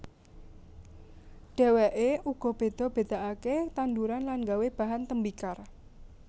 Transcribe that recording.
Dheweke uga beda bedakake tanduran lan gawé bahan tembikar